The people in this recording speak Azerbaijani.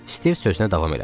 Stiv sözünə davam elədi.